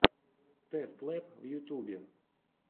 тэст лэб в ютьюбе